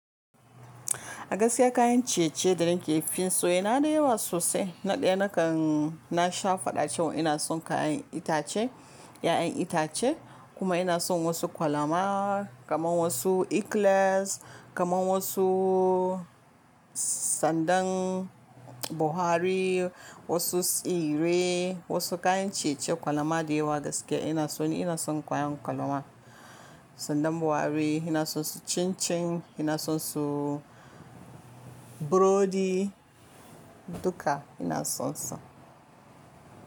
Gaskiya kayan ciye-ciye da na ke fin so yana da yawa sosai. Na ɗaya na kan na sha fada cewa ina son kayan itace, 'ya'yan itace kuma ina son wasu kwalama, kamar wasu ikles, kamar wasu sandan Buhari, wasu tsire, wasu kayan ciye-ciye kwalama da yawa gaskiya ina son su. Ina son kayan kwalama, sandan Buhari, ina son su cincin, ina son su burodi duka ina son su.